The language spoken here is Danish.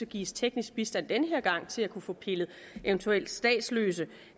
give teknisk bistand den her gang til at kunne få pillet eventuelt statsløse